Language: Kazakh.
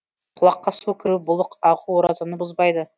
құлаққа су кіру бұлық ағу оразаны бұзбайды